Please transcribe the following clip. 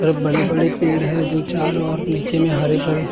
बड़े बड़े पेड़ हैं जो चारो ओर नीचे में हरे भरे।